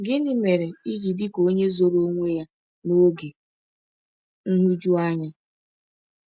“Gịnị mere i ji dị ka onye zoro onwe ya n’oge nhụjuanya?”